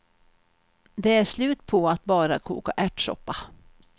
Det är slut på att bara koka ärtsoppa.